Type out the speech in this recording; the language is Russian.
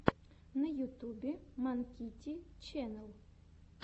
на ютубе манкити ченнэл